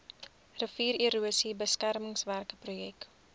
riviererosie beskermingswerke projek